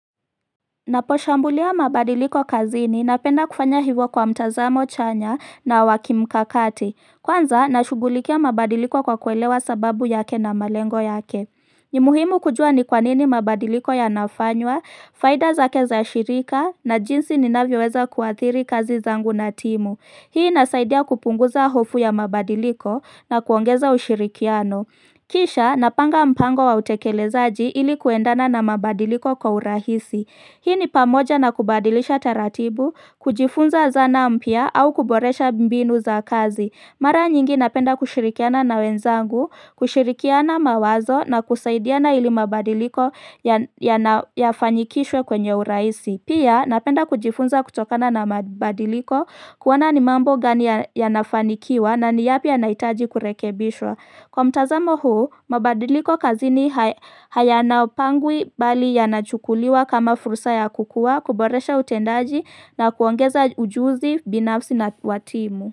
Ninaposhambulia mabadiliko kazini napenda kufanya hivyo kwa mtazamo chanya na wa kimkakati. Kwanza, nashughulikia mabadiliko kwa kuelewa sababu yake na malengo yake. Ni muhimu kujua ni kwa nini mabadiliko yanafanywa, faida zake za shirika, na jinsi ninavyoweza kuathiri kazi zangu na timu. Hii inasaidia kupunguza hofu ya mabadiliko na kuongeza ushirikiano. Kisha napanga mpango wa utekelezaji ili kwendana na mabadiliko kwa urahisi. Hii ni pamoja na kubadilisha taratibu, kujifunza zana mpya, au kuboresha mbinu za kazi. Mara nyingi napenda kushirikiana na wenzangu, kushirikiana mawazo na kusaidiana ili mabadiliko yafanyikishwe kwenye urahisi. Pia napenda kujifunza kutokana na mabadiliko kuona ni mambo gani yanafanikiwa na ni yapi yanahitaji kurekebishwa. Kwa mtazamo huu, mabadiliko kazini hayanapangwi bali yanachukuliwa kama fursa ya kukua, kuboresha utendaji na kuongeza ujuzi binafsi na wa timu.